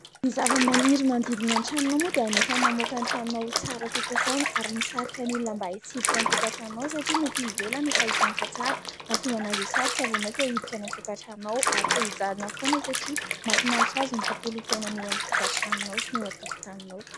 Ny zavamaniry manodidina ny tranonao moa dia anisany mamoaka ny tranonao ho tsara kokoa foana ary misarika ny olona mba hitsidika ny tokantranonao satria ny etỳ ivelany efa hitany fa tsara mahatonga an'azy hisarika vao maika hiditra any an-tokantranonao ary te-hijanona foana satria mahafinaritra azy ny tontolon'ny fiainana eo amin'ny tokantranonao sy ny eo an-tokotaninao.